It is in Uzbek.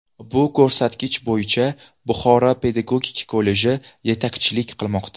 Bu ko‘rsatkich bo‘yicha Buxoro pedagogik kolleji yetakchilik qilmoqda.